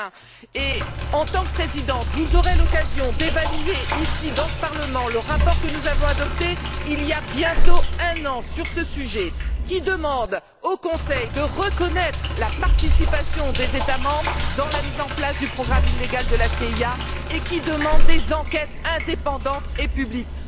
2001. En tant que Présidente, vous aurez l'occasion d'évaluer, ici, dans ce Parlement, le rapport que nous avons adopté il y a bientôt un an sur ce sujet, qui demande au Conseil de reconnaître la participation des États membres dans la mise en place du programme illégal de la CIA et qui réclame des enquêtes indépendantes et publiques.